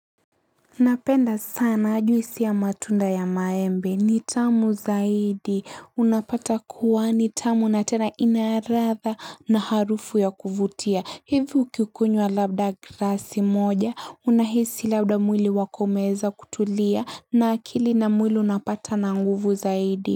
Napenda sana juisi ya matunda ya maembe, nitamu zaidi, unapata kuwa nitamu na tena inaladha na harufu ya kuvutia, hivi ukikunywa labda glasi moja, unahisi labda mwili wako umeweza kutulia na akili na mwili unapata na nguvu zaidi.